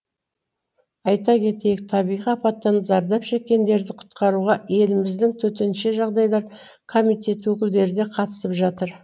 айта кетейік табиғи апаттан зардап шеккендерді құтқаруға еліміздің төтенше жағдайлар комитеті өкілдері де қатысып жатыр